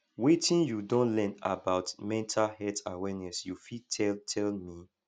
wetin you don learn about mental health awareness you fit tell tell me